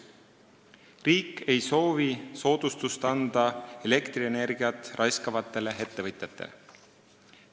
Riik ei soovi anda soodustust elektrienergiat raiskavatele ettevõtjatele.